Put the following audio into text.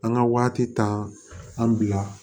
An ka waati tan an bila